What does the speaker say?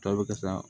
Tɔ bɛ ka sa